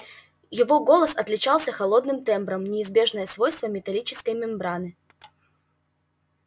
его голос отличался холодным тембром неизбежное свойство металлической мембраны